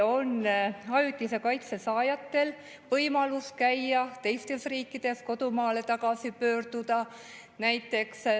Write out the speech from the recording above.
Ajutise kaitse saajatel on võimalus käia teistes riikides, kodumaale tagasi pöörduda.